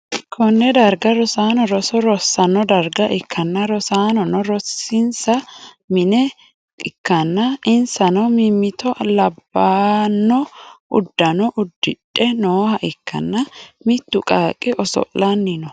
konne darga rosaano roso rosanno darga ikkanna, rosaanono rosinsa mine nooha ikkanna, insanno mimmito labbanno uddano uddidhe nooha ikkanna, mittu qaaqqi oso'lanni no.